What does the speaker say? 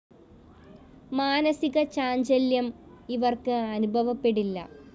മാനസിക ചാഞ്ചല്യം ഇവര്‍ക്ക് അനുഭവപ്പെടില്ല